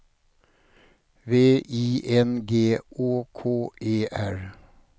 V I N G Å K E R